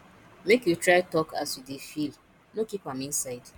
make you try tok as you dey feel no keep am inside